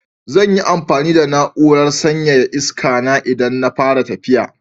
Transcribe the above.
Zan yi amfani da na'urar sanyaya iskana idan na fara tafiya.